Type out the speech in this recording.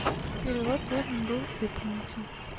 перевод должен был выполниться